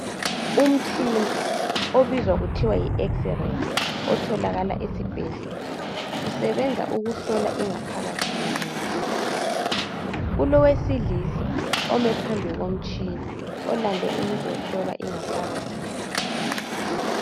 Umtshina obizwa kuthiwa yi x-ray otholakala esibhedlela usebenza ukuhlola ingaphakathi yomuntu. Kulowesilisa omi phambi komtshina balande ukuzohlola ingaphakathi yakhe.